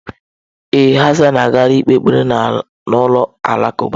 Ee, Hassan agaala ikpe ekpere na ụlọ alakụba.